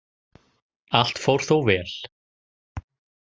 Allt fór þó vel